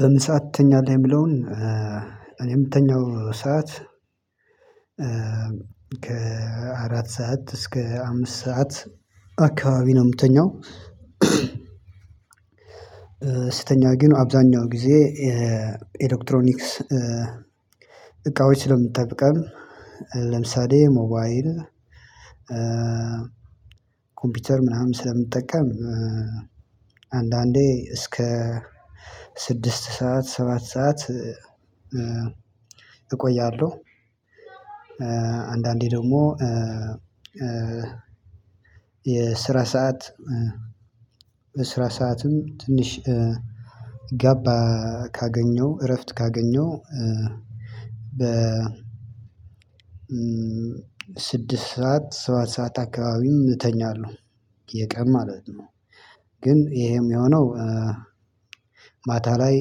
በምሳ ትተኛለህ የሚለውን እኔ ምተኛው ሰዓት ከአራት ሰዓት እስከ አምስት ሰዓት አካባቢ ነው ምትተኛው። ስተኛ ግን አብዛኛው ጊዜ ኤሌክትሮኒክስ እቃዎች ስለምጠቀም ለምሳሌ ሞባይል ኮምፒውተር ምናምን ስለምጠቀም አንዳንዴ እስከ ስድስት ሰዓት ሰባት ሰዓት እቆያለሁ። አንዳንዴ ደግሞ የስራ ሰዓት በስራ ሰዓትም ትንሽ ጋፕ ካገኘው እረፍት ካገኘው በ ስድስት ሰዓት ሰባት ሰዓት አካባቢም እተኛለሁ። የቀን ማለት ነው ግን ይሄም ሚሆነው ማታ ላይ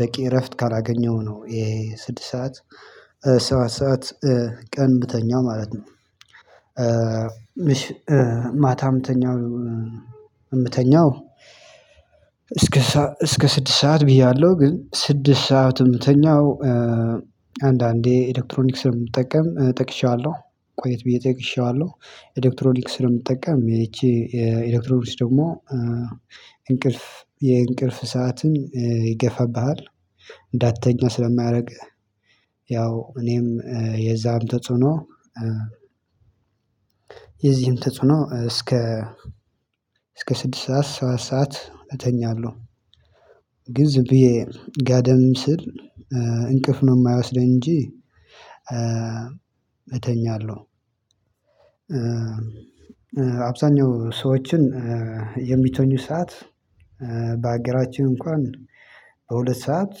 በቂ እረፍት ካላገኘሁ ነው ይሄ ስድስት ሰዓት ሰባት ሰዓት ቀን ምተኛው ማለት ነው። ማታ ምተኛው እምተኛው እስከ እስከ ስድስት ሰዓት ብያለሁ ግን ስድስት ሰዓት እምተኛው አንዳንዴ ኤሌክትሮኒክስ ስለምጠቀም ጠቅሼዋለሁ ቆየት ብዬ ጠቅሼዋለሁ ኤሌክትሮኒክስ ስለምጠቀም ይቺ ኤሌክትሮኒክስ ደግሞ እንቅልፍ የእንቅልፍ ሰዓትን ይገፋብሃል። እንዳትተኛ ስለሚያደርግ ያው እኔም የዛም ተጽዕኖ የዚህም ተጽዕኖ እስከ እስከ ስድስት ሰዓት ሰባት ሰዓት እተኛለሁ። ግን ዝም ብዬ ጋደም ስል እንቅፍ ነው ማይወስደኝ እንጂ እተኛለሁ። አብዛኛው ሰዎችን የሚተኙ ሰዓት በሀገራችን እንኳን በሁለት ሰዓት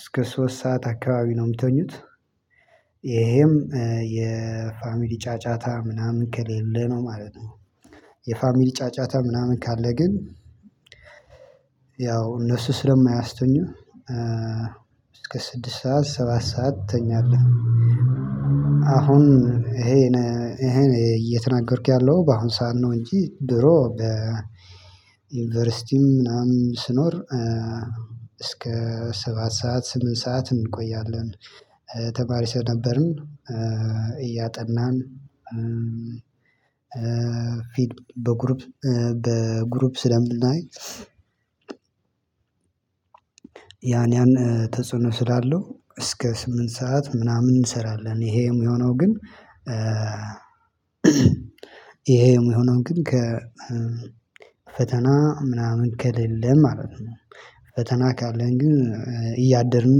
እስከ ሶስት ሰዓት አካባቢ ነው ሚተኙት። ይሄም የፋሚሊ ጫጫታ ምናምን ከሌለ ነው ማለት ነው። የፋሚሊ ጫጫታ ምናምን ካለ ግን ያው እነሱ ስለማያስተኙ እስከ ስድስት ሰዓት ሰባት ሰዓት ትተኛለህ። አሁን ይሄን ይሄን እየተናገርክ ያለው በአሁን ሰዓት ነው እንጂ ድሮ በዩኒቨርሲቲም ምናምን ስኖር እስከ ሰባት ሰዓት ስምንት ሰዓት እንቆያለን። ተማሪ ስለነበርን እያጠናን ፊልም በግሩፕ በግሩፕ ስለምናይ። ያን ያን ተጽዕኖ ስላለው እስከ ስምንት ሰዓት ምናምን እንሰራለን ይሄ የሚሆነው ግን። ይሄም የሆነው ግን ከ ፈተና ምናምን ከሌለ ማለት ነው። ፈተና ካለን ግን እያደርን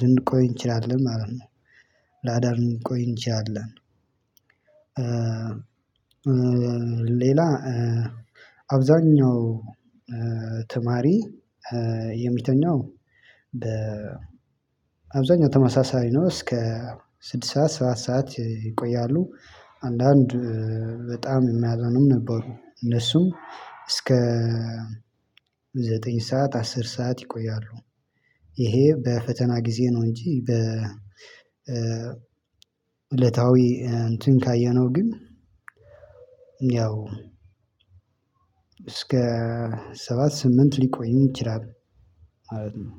ልንቆይ እንችላለን ማለት ነው። ለአዳር ልንቆይ እንችላለን። ሌላ አብዛኛው ተማሪ የሚተኛው በ አብዛኛው ተመሳሳይ ነው እስከ ስድስት ሰዓት ሰባት ሰዓት ይቆያሉ። አንዳንድ በጣም የሚያጠኑም ነበሩ እነሱም እስከ ዘጠኝ ሰዓት አስር ሰዓት ይቆያሉ። ይሄ በፈተና ጊዜ ነው እንጂ በ እለታዊ እንትን ካየነው ግን ያው እስከ ሰባት ስምንት ሊቆይ ይችላል። ማለት ነው።